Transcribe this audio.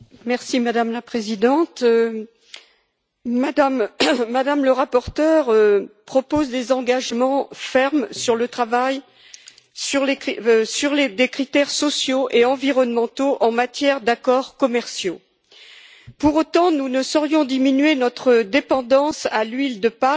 Madame la Présidente, Mme la rapporteure propose des engagements fermes sur le travail ainsi que sur des critères sociaux et environnementaux en matière d'accords commerciaux. Pour autant, nous ne saurions diminuer notre dépendance à l'huile de palme